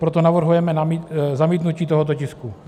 Proto navrhujeme zamítnutí tohoto tisku.